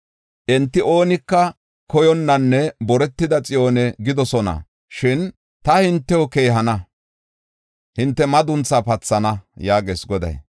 Enti, ‘Oonika koyonnanne boretida Xiyoone’ gidoosona; shin ta hintew keehana; hinte madunthaa pathana” yaagees Goday.